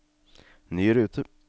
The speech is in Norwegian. ny rute